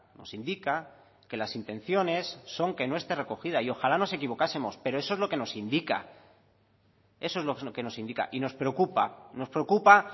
nos indica que las intenciones son que no esté recogida y ojalá nos equivocásemos pero eso es lo que nos indica y nos preocupa nos preocupa